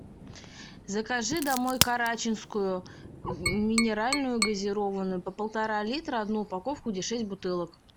закажи домой карачинскую минеральную газированную по полтора литра одну упаковку где шесть бутылок